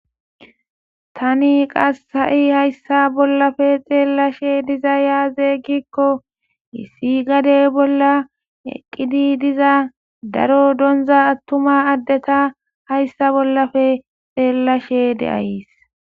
Tani qasha'i hayssa bollafe xeellashe diza yaazegikko issi gade bolla eqqidi diza daro donza attuma addeta hayssa bollafe xeellashe deayys.